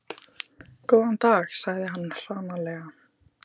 Góðan dag sagði hann hranalega.